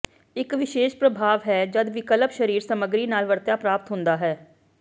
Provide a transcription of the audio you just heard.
ਇਕ ਵਿਸ਼ੇਸ਼ ਪ੍ਰਭਾਵ ਹੈ ਜਦ ਵਿਕਲਪਿਕ ਸ਼ਰੀਕ ਸਮੱਗਰੀ ਨਾਲ ਵਰਤਿਆ ਪ੍ਰਾਪਤ ਹੁੰਦਾ ਹੈ